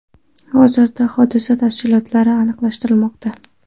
Hozirda hodisa tafsilotlari aniqlashtirilmoqda.